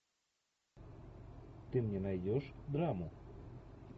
ты мне найдешь драму